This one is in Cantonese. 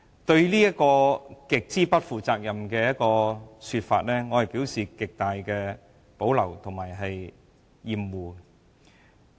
對於這種極不負責任的說法，我表示極大的保留及厭惡。